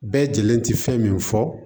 Bɛɛ lajɛlen tɛ fɛn min fɔ